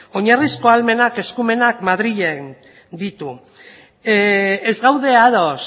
oinarrizko ahalmenak eskumenak madrilek ditu ez gaude ados